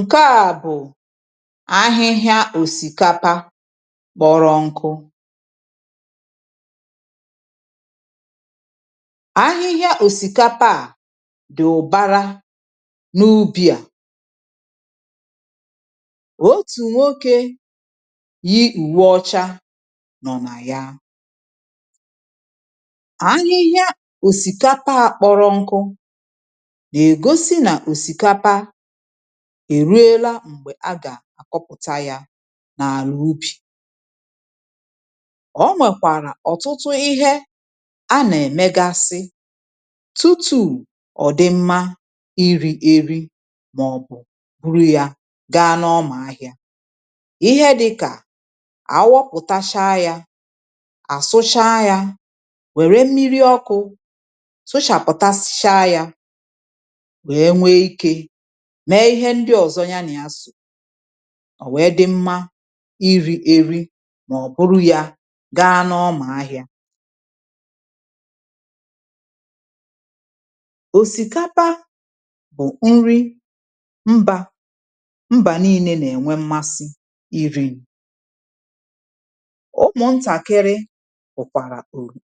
Ǹkè a bụ̀ ahịhịa òsìkapa kpọrọ nkụ ahịhịa òsìkapa a dị ụbàrà na ubì a, otu nwoke yi uwe ọcha nọ ná ya. Ahịhịa òsìkapa a kpọrọ nkụ ná egosi na òsìkapa èruela m̀gbè a gà-àkọpụ̀ta ya n’àlà ubì, ọ nwèkwàrà ọ̀tụtụ ihe a nà-èmegasị tụtụ̀ ọ̀dịmma iri̇ èri màọ̀bụ̀ buru ya gaa n’ọmà ahịȧ, ihe dịkà àwọpụ̀tacha ya àsụcha ya wère mmiri ọkụ̇ sụchàpụ̀tasicha ya nwe nwee ike mee ihe ndị ọzọ ya nà ya só, ò nwee dị mmȧ iri̇ eri mà ọ̀ bụrụ ya gaa n’ọmà ahịa òsìkapa bụ̀ nri mbȧ mbà niilė nà-ènwe mmasị iri̇, ụmụ ntakịrị hukwara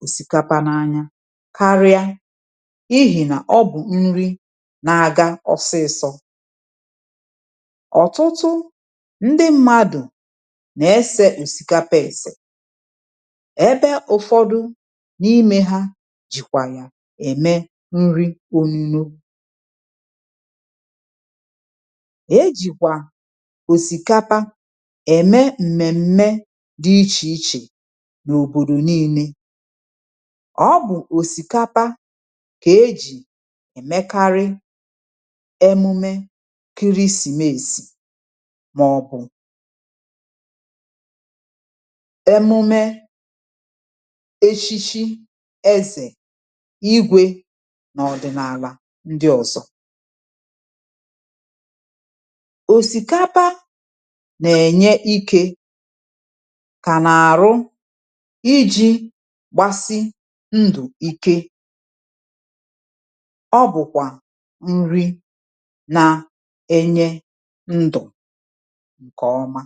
òsìkapa n'anya karịa n'ihi n'obu nri na-aga ọsịsọ, ọ̀tụtụ ndị mmadụ̀ nà-esė òsìkapa èsè ebe ụ̀fọdụ n’ime ha jìkwà yà ème nri ọnụnọ, e jìkwà òsìkapa ème m̀mèm̀mè dị ichè ichè n’òbòdò n’ile, ọ bụ̀ òsìkapa kà e jì èmekarị emụme kịrịsịmèsì màọ̀bụ̀, emume echichi ezè, igwè, n’ọ̀dị̀nàlà ndị ọ̀zọ, òsìkapa nà-ènye ikė kà n’àrụ iji̇ gbasi ndụ̀ ike, ọ bụ̀kwà nri na enye ndụ̀ ǹkè ọma.